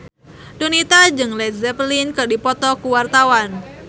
Donita jeung Led Zeppelin keur dipoto ku wartawan